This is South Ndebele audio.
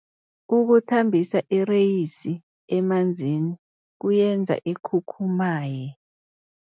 Ukuthambisa ireyisi emanzini kuyenza ikhukhumaye.